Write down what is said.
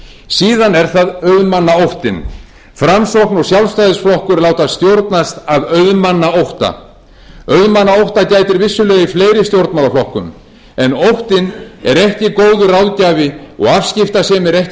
síðan er það auðmannaóttinn framsókn og sjálfstæðisflokkur láta stjórnast af auðmannaótta auðmannaótta gætir vissulega í fleiri stjórnmálaflokkum en óttinn er ekki góður ráðgjafi og afskiptasemi er ekki góður stjórnunarmáti hlutverk stjórnvalda